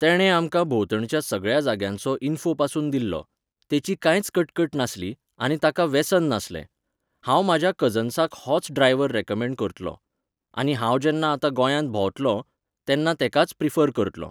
तेणें आमकां भोंवतणच्या सगळ्या जाग्यांचो इन्फोपासून दिल्लो. तेची कांयच कटकट नासली, आनी ताका वेसन नासलें. हांव म्हाज्या कजन्साक होच ड्रायवर रॅकमेंड करतलों. आनी हांव जेन्ना आतां गोंयांत भोंवतलों, तेन्ना तेकाच प्रिफर करतलों.